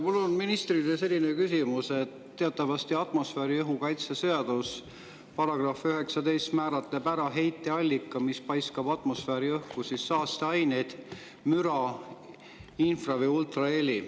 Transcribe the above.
Mul on ministrile selline küsimus, et teatavasti atmosfääriõhu kaitse seaduse § 19 määratleb ära heiteallika, mis paiskab atmosfääriõhku saasteaineid, müra, infra‑ või ultraheli.